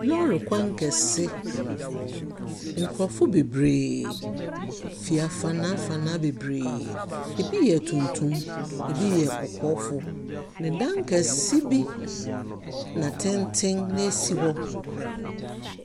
Lɔɔre kwan kɛse. Nkorɔfo beberee fi afanaa afanaa beberee. Ɛbi yɛ tuntum, ɛbi yɛ kɔkɔɔfoɔ, na dan kɛse bi na tenten si hɔ.